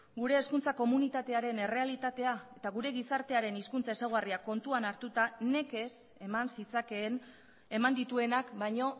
gure hezkuntza komunitatearen errealitatea eta gure gizartearen hizkuntza ezaugarriak kontuan hartuta nekez eman zitzakeen eman dituenak baino